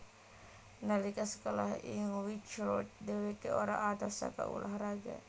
Nalika sekolah ing Whitchurch dhèwèkè ora adoh saka ulah raga